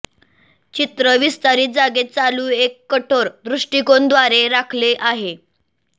चित्र विस्तारित जागेत चालू एक कठोर दृष्टीकोन द्वारे राखले आहे